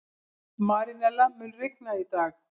Marínella, mun rigna í dag?